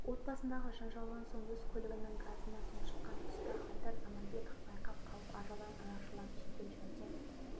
отбасындағы жанжалдан соң өз көлігінің газына тұншыққан тұста айдар заманбеков байқап қалып ажалдан арашалап жедел жәрдем